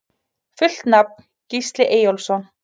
Fullt nafn: Gísli Eyjólfsson